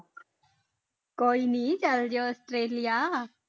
ਕੋਈ ਨੀ ਚਲੇ ਜਾਇਓ ਆਸਟ੍ਰੇਲੀਆ।